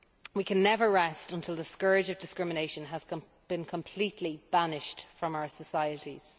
We can never rest until the scourge of discrimination has been completely banished from our societies.